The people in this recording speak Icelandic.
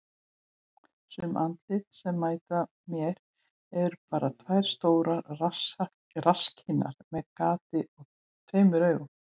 Sum andlitin sem mæta mér eru bara tvær stórar rasskinnar með gati og tveimur augum.